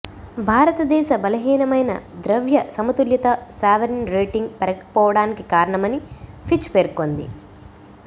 భారతదేశ బలహీనమయిన ద్రవ్య సమతుల్యత సావరిన్ రేటింగ్ పెరగకపోవడానికి కారణమని ఫిచ్ పేర్కొంది